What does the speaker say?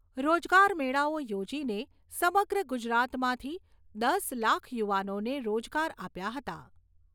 રોજગાર મેળાઓ યોજીને સમગ્ર ગુજરાતમાંથી દસ લાખ યુવાનોને રોજગાર આપ્યા હતા.